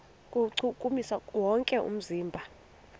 kuwuchukumisa wonke umzimba